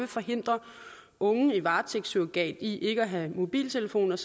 forhindre unge i varetægtssurrogat i at have en mobiltelefon